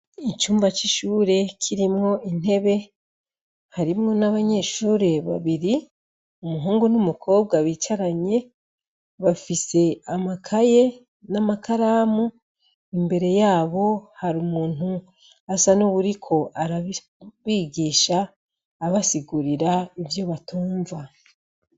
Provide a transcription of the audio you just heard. Icumba c'ishure kirimwo intebe, harimwo n'abanyeshure babiri, umuhungu n'umukobwa bicaranye, bafise amakaye n'amakaramu. Imbere yabo, hari umuntu ahahagaze asa n'uwuriko arabigisha, abasigurira ivyo batumva.